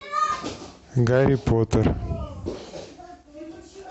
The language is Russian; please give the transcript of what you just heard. гарри поттер